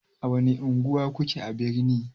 A wani unguwa kuke a birni?